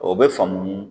O bɛ faamu